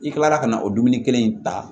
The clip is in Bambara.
I kilala ka na o dumuni kelen in ta